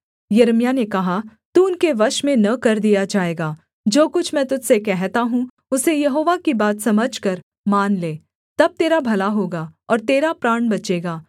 यिर्मयाह ने कहा तू उनके वश में न कर दिया जाएगा जो कुछ मैं तुझ से कहता हूँ उसे यहोवा की बात समझकर मान ले तब तेरा भला होगा और तेरा प्राण बचेगा